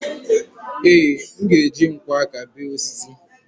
ee, m ga-eji nkwọ aka béé osisi